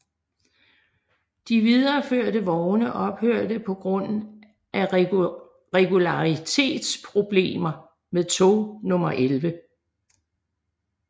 De videreførte vogne ophørte på grund af regularitetsproblemer med tog nummer 11